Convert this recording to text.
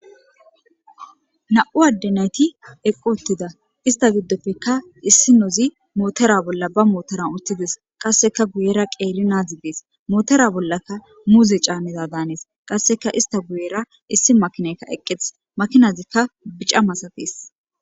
Na'u addenayti eqqu ottida ista giddoppeka issi nozi mootera bolla ba mootoran uthides qasseka guyera qeeri naadzi dees mootera bollaka muuze caamida daanees qasseka ista guyera issi makinaykka eqqetes makinazikka bica masafees